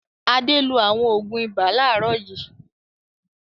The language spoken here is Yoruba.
Adé lo àwọn òògùn ibà láàárọ̀ yìí.